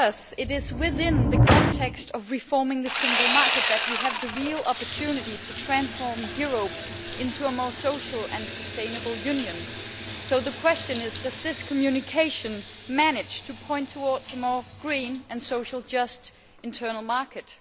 It is within the context of reforming the single market that we have the real opportunity to transform Europe into a more social and sustainable Union, so the question is does this communication manage to point towards a more green and socially just internal market?